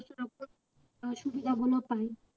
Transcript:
আহ সুবিধাগুলো পায়